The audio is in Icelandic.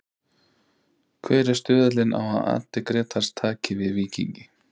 Hver er stuðullinn á að Addi Grétars taki við Víkingi?